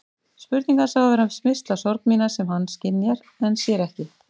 Spurning hans á að vera smyrsl á sorg mína sem hann skynjar en sér ekki.